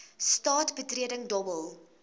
straat betreding dobbel